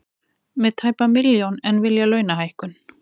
Með tæpa milljón en vilja launahækkun